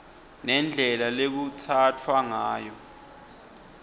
nendlela lekutsatfwa ngayo